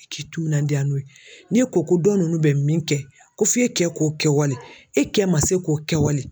I k'i timinandiya n'o ye ni e ko ko dɔ ninnu bɛ min kɛ ko f'e kɛ k'o kɛwale e kɛ man se k'o kɛwale